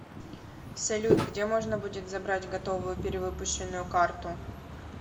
салют где можно будет забрать готовую перевыпущенную карту